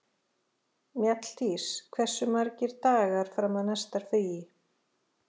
Mjalldís, hversu margir dagar fram að næsta fríi?